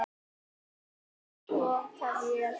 Eldur í uppþvottavél